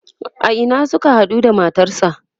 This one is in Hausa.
a Ina Suka haɗu da matarsa?